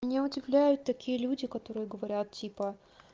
меня удивляют такие люди которые говорят типа